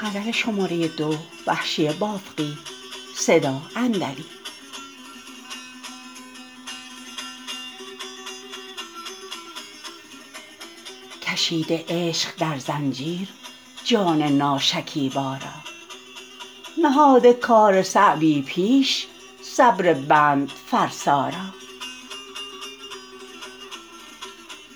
کشیده عشق در زنجیر جان ناشکیبا را نهاده کار صعبی پیش صبر بند فرسا را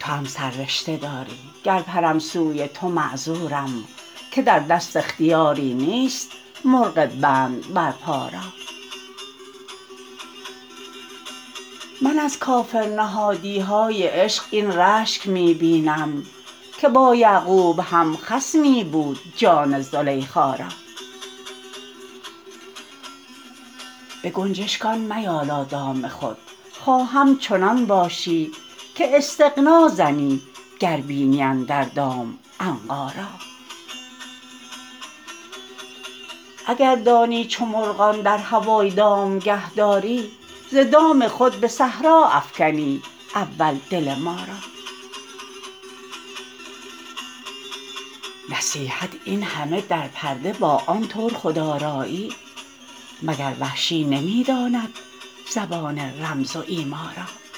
توام سررشته داری گر پرم سوی تو معذورم که در دست اختیاری نیست مرغ بند بر پا را من از کافرنهادیهای عشق این رشک می بینم که با یعقوب هم خصمی بود جان زلیخا را به گنجشگان میالا دام خود خواهم چنان باشی که استغنا زنی گر بینی اندر دام عنقا را اگر دانی چو مرغان در هوای دامگه داری ز دام خود به صحرا افکنی اول دل ما را نصیحت اینهمه در پرده با آن طور خودرایی مگر وحشی نمی داند زبان رمز و ایما را